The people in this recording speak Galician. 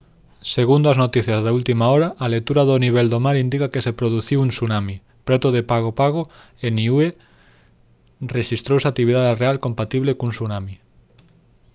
segundo as noticias de última hora a lectura do nivel do mar indica que se produciu un tsunami preto de pago pago e niue rexistrouse actividade real compatible cun tsunami